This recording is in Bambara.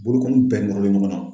Bolokɔni bɛɛ nɔrɔlen ɲɔgɔn na.